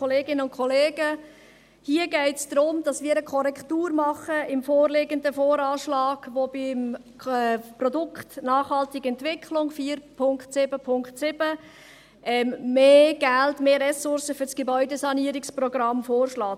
Hier geht es darum, dass wir eine Korrektur des vorliegenden VA vornehmen, der beim Produkt «Nachhaltige Entwicklung», 4.7.7, mehr Geld, mehr Ressourcen für das Gebäudesanierungsprogramm vorschlägt.